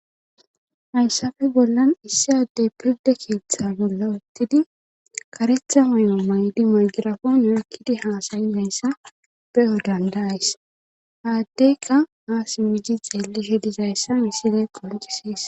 Hayssafe bollan issi addey pirda keeththa bolla uttidi karetha mayo maydi magirafon nakkidi haasayi deyssa be7o dandays haaddeyka aas miji xeellishe dizayssa missine qoncisees.